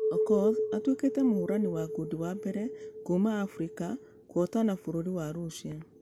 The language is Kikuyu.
Okoth atuekĩte mũhorani wa ngundi wa mbere kuuma africa kũhotana bũrũri wa russia .